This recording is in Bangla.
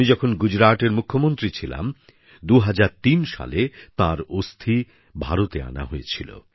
আমি যখন গুজরাটের মুখ্যমন্ত্রী ছিলাম ২০০৩ সালে তাঁর অস্থি ভারতে আনা হয়েছিল